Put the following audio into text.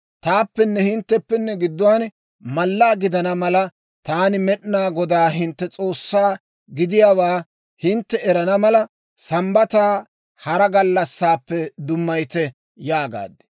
Taappenne hintteppe gidduwaan mallaa gidana malanne taani Med'inaa Godaa hintte S'oossaa gidiyaawaa hintte erana mala, Sambbataa hara gallassaappe dummayite» yaagaad.